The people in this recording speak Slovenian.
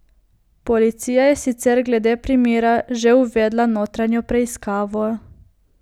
Policija je sicer glede primera že uvedla notranjo preiskavo.